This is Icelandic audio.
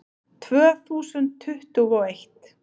Tvö þúsund tuttugu og eitt